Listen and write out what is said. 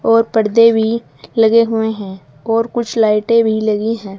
और पर्दे भी लगे हुए है और कुछ लाइटे भी लगी हैं।